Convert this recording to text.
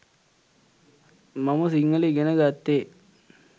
මම සිංහල ඉගෙන ගත්තෙ.